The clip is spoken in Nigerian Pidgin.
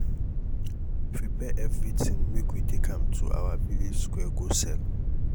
prepare everything make we take am to our village square go sell